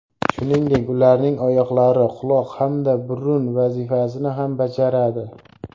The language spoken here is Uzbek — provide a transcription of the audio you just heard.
Shuningdek, ularning oyoqlari quloq hamda burun vazifasini ham bajaradi.